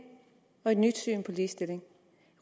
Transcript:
og et nyt syn på ligestilling